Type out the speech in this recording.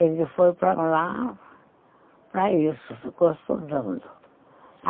Ele foi para lá, para isso, ficou estudando.